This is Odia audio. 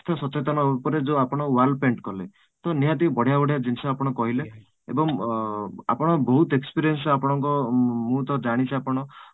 ସ୍ୱାସ୍ଥ୍ୟ ସଚେତନ ଉପରେ ଯୋଉ ଆପଣ wall paint କଲେ ତ ନିହାତି ବଢିଆ ବଢିଆ ଜିନିଷ ଆପଣ କହିଲେ ଏବଂ ଅଂ ଆପଣ ବହୁତ experience ଆପଣଙ୍କ ଅଂ ମୁଁ ତ ଜାଣିଛି ଆପଣ